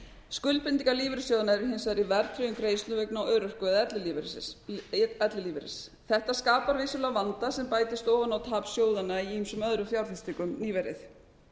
skuldbindingar lífeyrissjóðanna eru hins vegar í verðtryggðum greiðslum vegna örorku eða ellilífeyris þetta skapar vissulega vanda sem bætist ofan á tap sjóðanna í ýmsum öðrum fjárfestingum nýverið